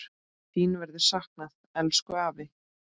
Þín verður saknað, elsku afi.